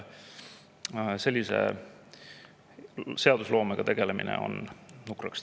Sellise seadusloomega tegelemine teeb kahjuks nukraks.